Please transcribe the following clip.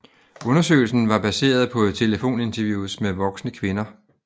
Undersøgelsen var baseret på telefoninterviews med voksne kvinder